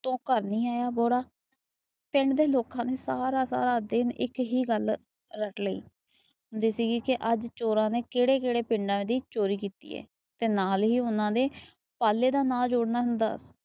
ਤੋਂ ਘਰ ਨਹੀਂ ਆਇਆ ਜਿਹੜਾ। ਪਿੰਡ ਦੇ ਲੋਕ ਨੇ ਸਾਰਾ ਸਾਰਾ ਦਿਨ ਇੱਕ ਹੀ ਗੱਲ ਰੱਟ ਲਈ। ਅੱਜ ਚੋਰਾਂ ਨੇ ਕਿਹੜੇ ਕਿਹੜੇ ਪਿੰਡਾਂ ਦੀ ਚੋਰੀ ਕੀਤੀ ਏ। ਨਾਲ ਹੀ ਉਹਨਾਂ ਨੇ ਪਾਲੇ ਦਾ ਨਾ ਜੋੜਨਾ ਹੁੰਦਾ